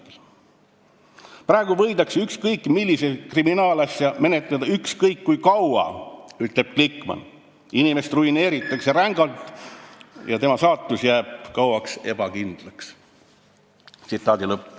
Glikman ütles, et praegu võidakse ükskõik millist kriminaalasja menetleda ükskõik kui kaua, inimest ruineeritakse rängalt ja tema saatus jääb kauaks ebakindlaks.